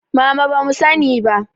Mama bamu sani ba